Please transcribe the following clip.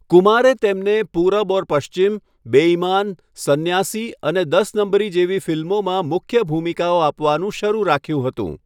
કુમારે તેમને પૂરબ ઔર પશ્ચિમ, બેઈમાન, સંન્યાસી અને દસ નંબરી જેવી ફિલ્મોમાં મુખ્ય ભૂમિકાઓ આપવાનું શરુ રાખ્યું હતું.